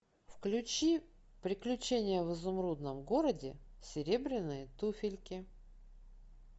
включи приключения в изумрудном городе серебряные туфельки